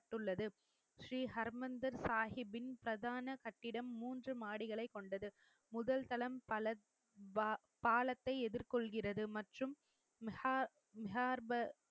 பட்டுள்ளது ஸ்ரீஹர்மந்தர் சாகிப்பின் பிரதான கட்டிடம் மூன்று மாடிகளைக் கொண்டது முதல் தளம் பலத் பாலத்தை எதிர்கொள்கிறது மற்றும்